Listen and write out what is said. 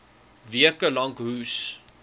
weke lank hoes